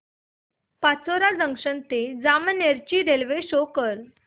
Pachora junction ते जामनेर ची railway show कर